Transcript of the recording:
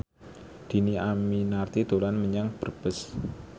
Dhini Aminarti dolan menyang Brebes